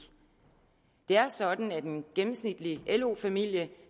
det er sådan at en gennemsnitlig lo familie